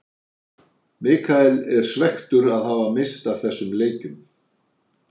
Michael er svekktur að hafa misst af þessum leikjum.